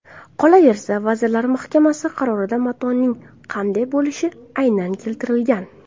Qolaversa, Vazirlar Mahkamasi qarorida matoning qanday bo‘lishi aynan keltirilgan.